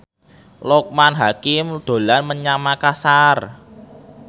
Loekman Hakim dolan menyang Makasar